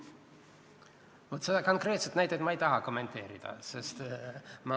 Vaat seda konkreetset näidet ma ei taha kommenteerida.